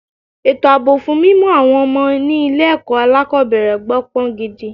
Ètò àbọ̀ fún mímú àwọn ọmọ ni ilé ẹ̀kọ́ alákòbẹ̀rẹ̀ gbó pọn gidi.